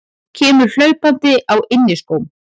Kemur hlaupandi á inniskóm.